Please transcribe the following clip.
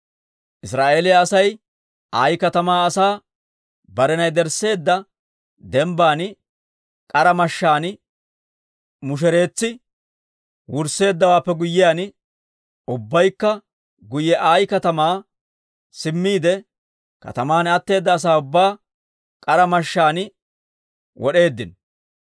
Israa'eeliyaa Asay Ayi katamaa Asay unttuntta yedersseedda dembbaan k'ara mashshaan mushereetsi wursseeddawaappe guyyiyaan, ubbaykka guyye Ayi katamaa simmiide, kataman atteeda asaa ubbaa k'ara mashshaan wod'eeddino.